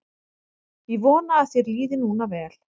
Ég vona að þér líði núna vel.